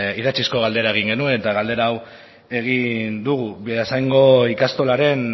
idatzizko galdera egin genuen eta galdera hau egin dugu beasaingo ikastolaren